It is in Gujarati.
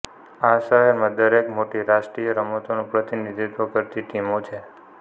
આ શહેરમાં દરેક મોટી રાષ્ટ્રીય રમતોનું પ્રતિનિધિત્વ કરતી ટીમો છે